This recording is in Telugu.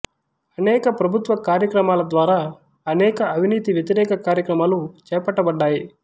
అనేక ప్రభుత్వ కార్యక్రమాల ద్వారా అనేక అవినీతి వ్యతిరేక కార్యక్రమాలు చేపట్టబడ్డాయి